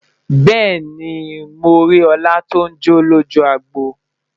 bẹẹni, mọ rí òla ton jọ lójú agbo